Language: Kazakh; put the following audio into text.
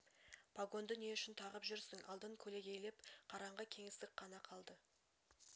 пагонды не үшін тағып жүрсің алдын көлегейлеп қараңғы кеңістік қана қалды